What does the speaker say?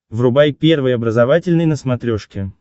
врубай первый образовательный на смотрешке